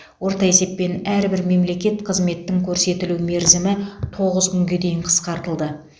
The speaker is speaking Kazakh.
орта есеппен әрбір мемлекеттік қызметтің көрсетілу мерзімі тоғыз күнге дейін қысқартылды